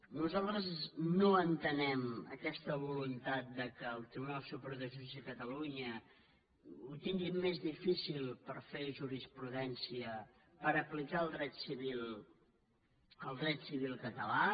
nosaltres no entenem aquesta voluntat que el tribunal superior de justícia de catalunya ho tingui més difícil per fer jurisprudència per aplicar el dret civil català